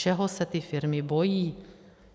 Čeho se ty firmy bojí?